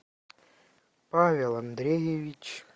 павел андреевич